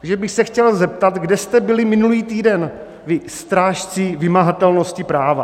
Takže bych se chtěl zeptat, kde jste byli minulý týden, vy strážci vymahatelnosti práva?